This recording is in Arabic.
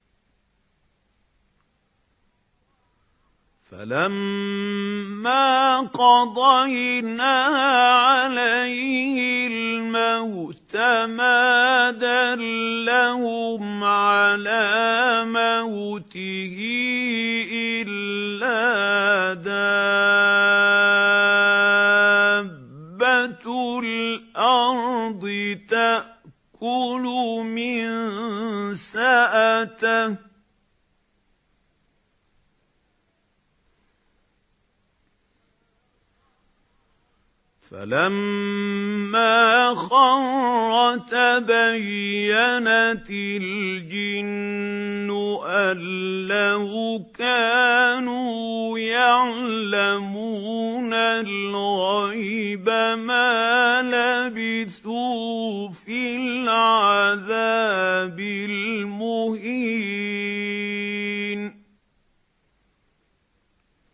فَلَمَّا قَضَيْنَا عَلَيْهِ الْمَوْتَ مَا دَلَّهُمْ عَلَىٰ مَوْتِهِ إِلَّا دَابَّةُ الْأَرْضِ تَأْكُلُ مِنسَأَتَهُ ۖ فَلَمَّا خَرَّ تَبَيَّنَتِ الْجِنُّ أَن لَّوْ كَانُوا يَعْلَمُونَ الْغَيْبَ مَا لَبِثُوا فِي الْعَذَابِ الْمُهِينِ